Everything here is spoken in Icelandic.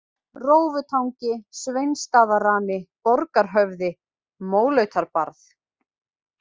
Rófutangi, Sveinsstaðarani, Borgarhöfði, Mólautarbarð